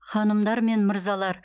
ханымдар мен мырзалар